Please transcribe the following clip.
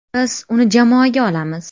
Biz uni jamoaga olamiz.